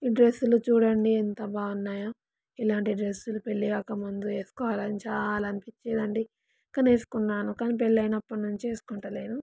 ఈ డ్రెస్స్ లు చూడండి ఎంత బాగున్నాయో. ఇలాంటి డ్రెస్స్ లు పెళ్లి కాక ముందు ఏసుకోవాలని చాలా అనిపిచ్చెదండీ కనీ ఏసుకున్నాను కానీ పెళ్లి అయినప్పటి నుండి ఏసుకుంటాలెను.